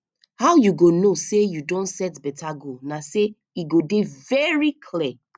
how you go know say you don set beta goal na say e go dey very clear